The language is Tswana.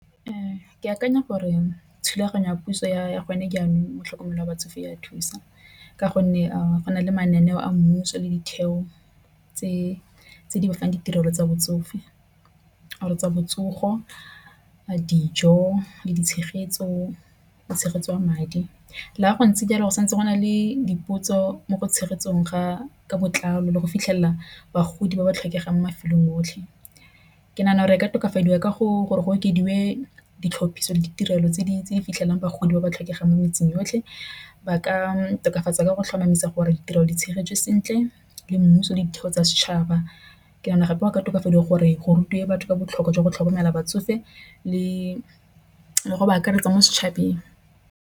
Ee, ke akanya gore thulaganyo ya puso ya gone jaanong mo tlhokomelo ya batsofe ya thusa ka gonne go na le mananeo a mmuso le ditheo tse di fang ditirelo tsa botsofe. Re tsa botsogo dijo le di tshegetso, tshegetso ya madi le fa go ntse jalo go santse go na le diputso mo tshegetsong ga ka botlalo le go fitlhelela bagodi ba ba tlhokegang mo mafelong otlhe. Ke nagana gore ka tokafadiwa ka gore go okediwe ditlhapiso le ditirelo tse dintsi fitlhelang bagodi ba ba tlhokegang mo metseng yotlhe, ba ka tokafatsa ka go tlhomamisa gore ditirelo di tshegetso sentle le mmuso ditheo tsa setšhaba. Ke yone gape ba ka tokafadiwang gore go rute batho ka botlhokwa jwa go tlhokomela batsofe le go ba akaretsa mo setšhabeng.